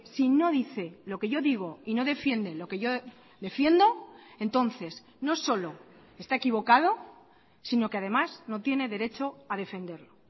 si no dice lo que yo digo y no defienden lo que yo defiendo entonces no solo está equivocado sino que además no tiene derecho a defenderlo